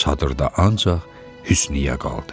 Çadırda ancaq Hüsniyyə qaldı.